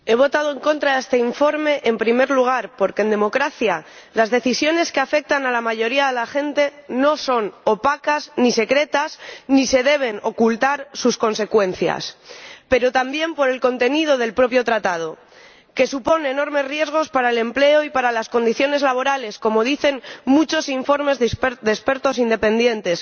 He votado en contra de este informe, en primer lugar, porque en democracia las decisiones que afectan a la mayoría de la gente no son opacas, ni secretas, ni se deben ocultar sus consecuencias, pero también por el contenido del propio tratado, que supone enormes riesgos para el empleo y para las condiciones laborales, como dicen muchos informes de expertos independientes